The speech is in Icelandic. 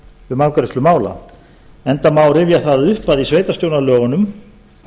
um afgreiðslu mála enda má rifja að upp að í sveitarstjórnarlögunum